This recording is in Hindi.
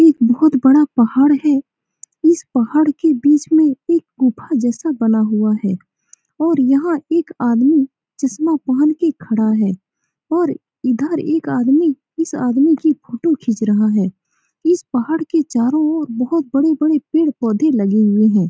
एक बहुत बड़ा पहाड़ है इस पहाड़ के बीच में एक गुफा जैसा बना हुआ है और यहाँ एक आदमी चश्मा पहन के खड़ा है और इधर एक आदमी इस आदमी की फोटो खिंच रहा है इस पहाड़ के चारो ओर बहुत बड़े-बड़े पेड़ पौधे लगे हैं।